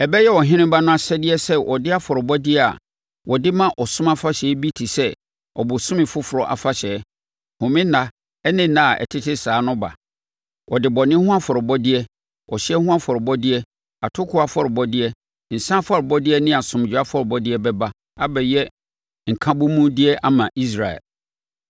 Ɛbɛyɛ ɔheneba no asɛdeɛ sɛ ɔde afɔrebɔdeɛ a wɔde ma ɔsom afahyɛ bi te sɛ ɔbosome foforɔ afahyɛ, home nna ne nna a ɛtete saa no ba. Ɔde bɔne ho afɔrebɔdeɛ, ɔhyeɛ ho afɔrebɔdeɛ, atokoɔ afɔrebɔdeɛ, nsã afɔrebɔdeɛ ne asomdwoeɛ afɔrebɔdeɛ bɛba abɛyɛ nkabomudeɛ ama Israel.